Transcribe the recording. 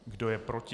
Kdo je proti?